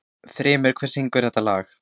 Þrymur, hver syngur þetta lag?